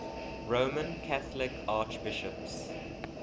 roman catholic archbishops